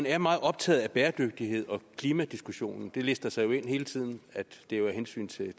er meget optaget af bæredygtigheden og klimadiskussionen det lister sig jo hele tiden ind at det er af hensyn til